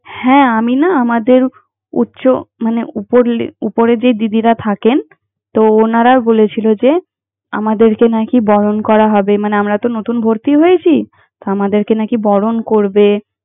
হ্যাঁ, আমি না আমাদের উচ্চ মানে উপর la উপরের যে দিদিরা থাকেন, তো ওনারা বলেছিল যে, আমাদেরকে নাকি বরণ করা হবে মানে, আমরা তো নতুন ভর্তি হয়েছি। আমাদেরকে নাকি বরণ করবে।